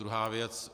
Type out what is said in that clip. Druhá věc.